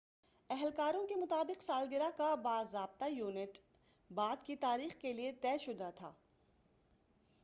اہلکاروں کے مطابق سالگرہ کا باضابطہ ایونٹ بعد کی تاریخ کے لیے طے شدہ تھا